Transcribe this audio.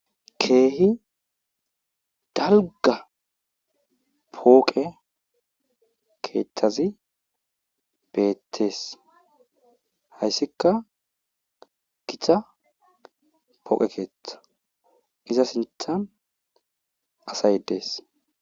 Keehi dalgga pooqe keethhazi betees. hayssikka gita pooqe keeththa iza sinththan asay dees.